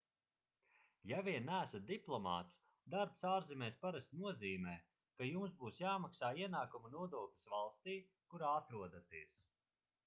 ja vien neesat diplomāts darbs ārzemēs parasti nozīmē ka jums būs jāmaksā ienākuma nodoklis valstī kurā atrodaties